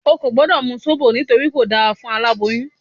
O ò gbọ́dọ̀ mu Sóbò nítorí kò dáa fún aláboyún